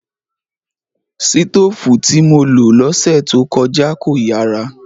Sitóòfù tí mo lo lọ́sẹ̀ tó kọjá kò yàrà